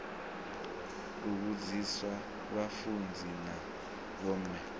u vhudzisa vhafunzi na vhomme